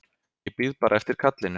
Ég bíð bara eftir kallinu.